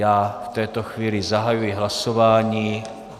Já v této chvíli zahajuji hlasování.